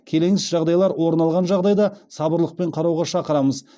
келеңсіз жағдайлар орын алған жағдайға сабырлылықпен қарауға шақырамыз